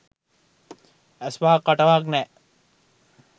ඇස්වහක් කටවහක් නෑ